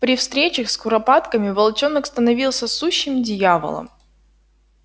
при встречах с куропатками волчонок становился сущим дьяволом